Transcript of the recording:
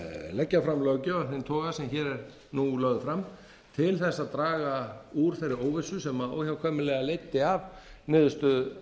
leggja fram löggjöf af þeim toga sem hér er nú lögð fram til þess að draga úr þeirri óvissu sem óhjákvæmilega leiddi af niðurstöðu